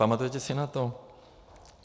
Pamatujete si na to?